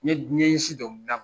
N ye n ɲɛsin dɔnkilida ma.